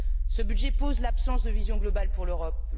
Ce budget pose l'absence de vision globale pour l'Europe.